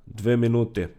Dve minuti.